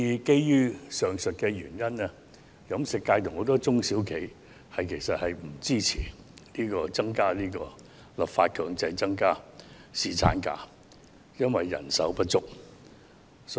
基於上述原因，飲食界及很多中小企不支持立法強制增加侍產假，因為人手不足。